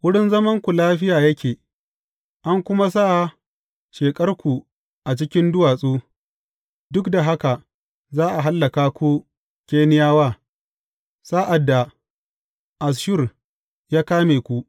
Wurin zamanku lafiya yake, an kuma sa sheƙarku a cikin duwatsu; duk da haka, za a hallaka ku Keniyawa sa’ad da Asshur ya kame ku.